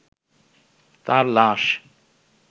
তাঁর লাশ